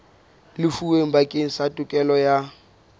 lefuweng bakeng sa tokelo ya